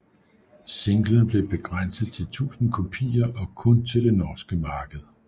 Singlen blev begrænset til 1000 kopier og kun til det norske marked